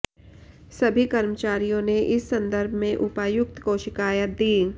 सभी कर्मचारियों ने इस संदर्भ में उपायुक्त को शिकायत दी